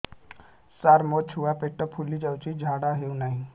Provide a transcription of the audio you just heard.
ସାର ମୋ ଛୁଆ ପେଟ ଫୁଲି ଯାଉଛି ଝାଡ଼ା ହେଉନାହିଁ